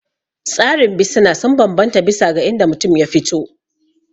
Tsarin bisina sun bambanta bisa ga inda mutum ya fito